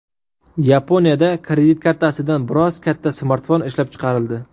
Yaponiyada kredit kartasidan biroz katta smartfon ishlab chiqarildi.